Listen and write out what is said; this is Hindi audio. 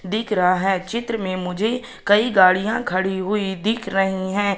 दिख रहा है चित्र में मुझे कई गाड़ियां खड़ी हुई दिख रही है।